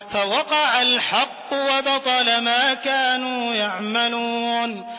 فَوَقَعَ الْحَقُّ وَبَطَلَ مَا كَانُوا يَعْمَلُونَ